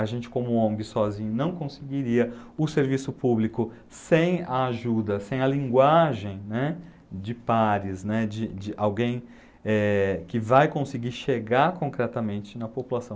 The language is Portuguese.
A gente como Ong sozinho não conseguiria o serviço público sem a ajuda, sem a linguagem, né, de pares, né, de de alguém, eh, que vai conseguir chegar concretamente na população.